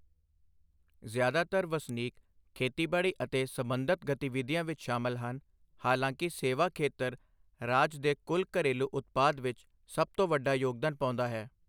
ਜ਼ਿਆਦਾਤਰ ਵਸਨੀਕ ਖੇਤੀਬਾੜੀ ਅਤੇ ਸਬੰਧਤ ਗਤੀਵਿਧੀਆਂ ਵਿੱਚ ਸ਼ਾਮਲ ਹਨ, ਹਾਲਾਂਕਿ ਸੇਵਾ ਖੇਤਰ ਰਾਜ ਦੇ ਕੁੱਲ ਘਰੇਲੂ ਉਤਪਾਦ ਵਿੱਚ ਸਭ ਤੋਂ ਵੱਡਾ ਯੋਗਦਾਨ ਪਾਉਂਦਾ ਹੈ।